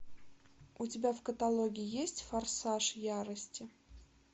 у тебя в каталоге есть форсаж ярости